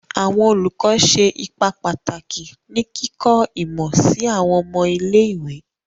Awọn olùkọ ṣe ipa pataki ni kikọ imọ si awọn ọmọ ile-iwe